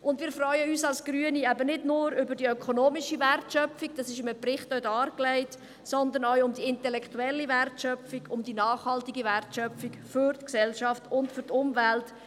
Als Grüne freuen wir uns nicht nur über die ökonomische Wortschöpfung – diese ist auch in einem Bericht dargelegt –, sondern auch über die intellektuelle, nachhaltige Wertschöpfung für die Gesellschaft und die Umwelt.